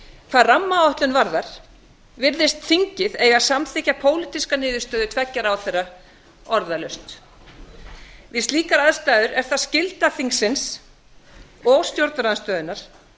hvað rammaáætlun varðar virðist þingið eiga að samþykkja pólitíska niðurstöðu tveggja ráðherra orðalaust við slíkar aðstæður er það skylda þingsins og stjórnarandstöðunnar